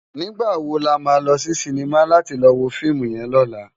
Nigbá wó làmá lò si sinimá làti lò wó fiimú yèn lòlá?